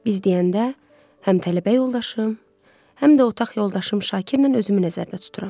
Biz deyəndə həm tələbə yoldaşım, həm də otaq yoldaşım Şakirlə özümü nəzərdə tuturam.